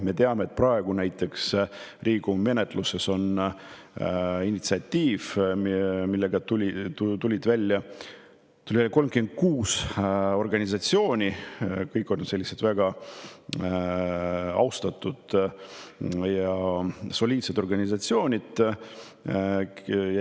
Me teame, et praegu on näiteks Riigikogu menetluses initsiatiiv, millega tuli välja 36 organisatsiooni, kõik olid väga austatud ja soliidsed organisatsioonid.